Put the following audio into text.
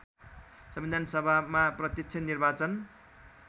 संविधानसभामा प्रत्यक्ष निर्वाचन